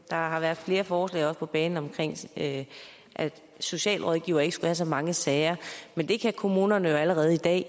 der har været flere forslag på banen om at socialrådgivere ikke skulle have så mange sager men det kan kommunerne jo allerede i dag